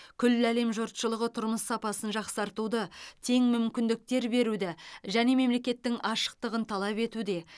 күллі әлем жұртшылығы тұрмыс сапасын жақсартуды тең мүмкіндіктер беруді және мемлекеттің ашықтығын талап етуде